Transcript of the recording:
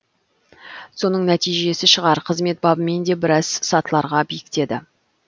соның нәтижесі шығар қызмет бабымен де біраз сатыларға биіктеді